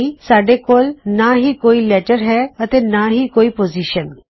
ਯਾਨੀ ਸਾਡੇ ਕੋਲ ਨਾਂ ਹੀ ਕੋਈ ਲੈਟਰ ਹੈ ਅਤੇ ਨਾਂ ਹੀ ਕੋਈ ਪੋਜ਼ਿਸ਼ਨ